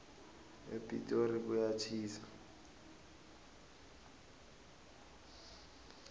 epitori kuyatjhisa